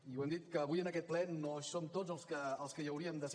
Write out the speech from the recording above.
i ho hem dit que avui en aquest ple no hi som tots els que hi hauríem de ser